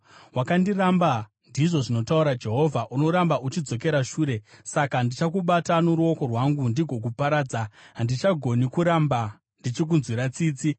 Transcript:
Wakandiramba,” ndizvo zvinotaura Jehovha. “Unoramba uchidzokera shure. Saka ndichakubata noruoko rwangu ndigokuparadza; handichagoni kuramba ndichikunzwira tsitsi.